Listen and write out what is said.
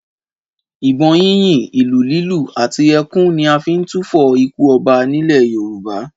Ìbọn yínyìn, ìlù lílù àti ẹkún ni a fi ń túfọ̀ ikú ọba nílẹ̀ Yorùbá